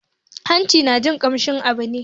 Hanci na jin kamshin abu ne